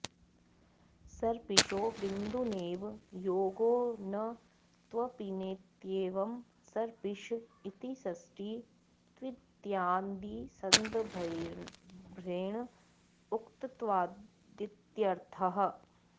सर्पिषो बिन्दुनैव योगो न त्वपिनेत्येवं सर्पिष इति षष्ठी त्वित्यादिसंदर्भेण उक्तत्वादित्यर्थः